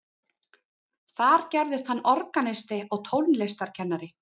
þar gerðist hann organisti og tónlistarkennari